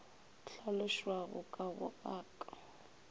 hlalošwago ka go a ka